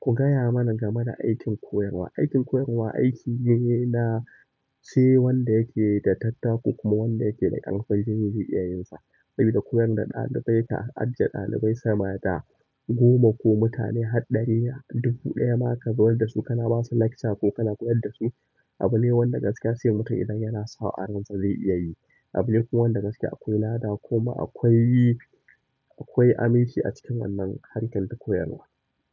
Ku gaya mana game da aikin koyarwa. Aikin koyarwa aiki ne na sai wanda yake da tattako kuma wanda yake da ƙarfin jini zai iya yin sa. Saboda koyar da ɗalibai ta ajiye ɗalibai sama da goma ko mutane har ɗari a dubu ɗaya ma ka zuana da su kana ba su lecture ko kana koyar da su abu ne wanda gaskiya sai mutum idan yana so a ransa zai iya yi. Abu ne kuma wanda gaskiya akwai lada kuma akwai, akwai aminci a cikin wannan harkar ta koyarwa.